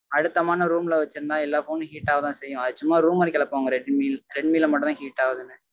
அழுத்தமான room ல வெச்சு இருந்தா எல்லா phone உம் heat ஆக தா செய்யும். அது சும்மா rumour ர கெளப்புவாங்க redmi னு redmi ல மட்டும் தா heat ஆகுதுனு